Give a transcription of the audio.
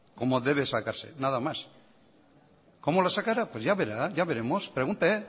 como debe sacarse nada más cómo la sacará pues ya verá ya veremos pregunte